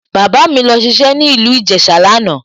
Bàbá mi lọ ṣiṣẹ́ ní ìlú Ìjẹ̀ṣà lánàá